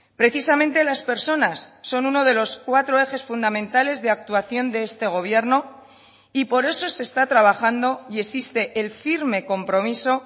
precisamente las personas son uno de los cuatro ejes fundamentales de actuación de este gobierno y por eso se está trabajando y existe el firme compromiso